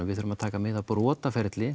við þurfum að taka mið af